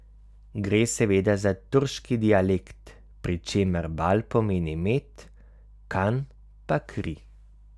Gre seveda za turški dialekt, pri čemer Bal pomeni med, kan pa kri.